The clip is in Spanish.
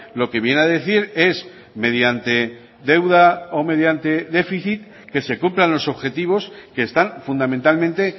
lo que viene a decir es mediante deuda o mediante déficit que se cumplan los objetivos que están fundamentalmente